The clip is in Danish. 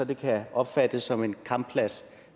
det kan opfattes som en kampplads